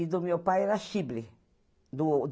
E do meu pai era Chibli, do ô